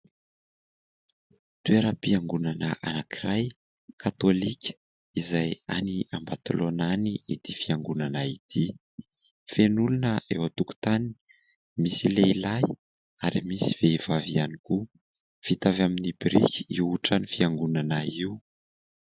Toeram-piangonana anankiray katolika, izay any Ambatolaona any ity fiangonana ity. Feno olona eo an-tokontany, misy lehilahy ary misy vehivavy ihany koa. Vita avy amin'ny biriky io trano fiangonana io.